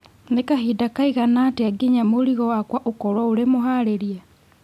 Nĩ kahinda kaigana atĩa nginya mũrigo wakwa ũkorwo ũri mũharĩrie